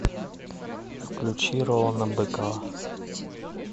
включи ролана быкова